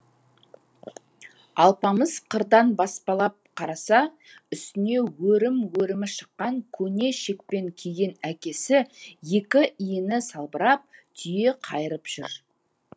алпамыс қырдан баспалап қараса үстіне өрім өрімі шыққан көне шекпен киген әкесі екі иіні салбырап түйе қайырып жүр